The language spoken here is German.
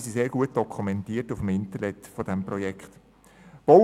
Sie sind sehr gut auf der Internetseite des Projekts dokumentiert.